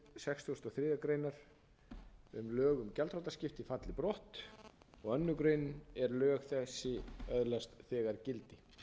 sextugustu og þriðju grein um lög um gjaldþrotaskipti falli brott annarri grein er lög þessi öðlast þegar